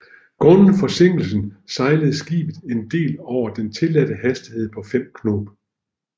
Grundet forsinkelsen sejlede skibet en del over den tilladte hastighed på 5 knob